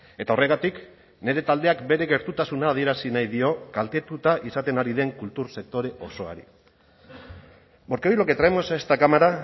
eta horregatik nire taldeak bere gertutasuna adierazi nahi dio kaltetuta izaten ari den kultur sektore osoari porque hoy lo que traemos a esta cámara